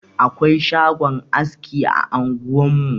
Akwai shagon aski a anguwarmu.